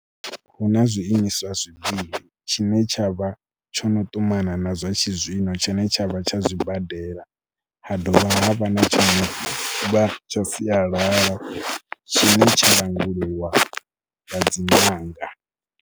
Hu na zwiimiswa zwivhili tshine tsha vha tsho no ṱumana na zwa tshizwino, tshine tshavha tsha zwibadela. Ha dovha ha vha na tsho no tsha sialala tshine tsha langulwa nga dzi ṅanga.